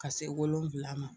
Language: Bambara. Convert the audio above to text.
Ka se wolon wolonwula ma.